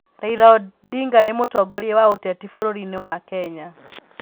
Raila Odinga nĩ mũtongoria wa ũteti bũrũriinĩ wa Kenya.